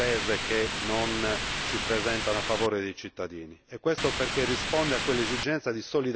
in rapporto a tante decisioni prese che non si presentano a favore dei cittadini.